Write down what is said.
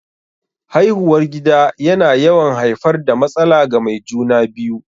Haihuwar gida yana yawan haifar da matsala ga mai juna-biyu.